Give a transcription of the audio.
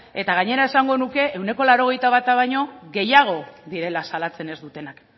eta gainera esango nuke ehuneko laurogeita bata baino gehiago direla salatzen ez dutenak